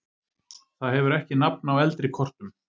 Það hefur ekki nafn á eldri kortum.